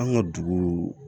An ka dugu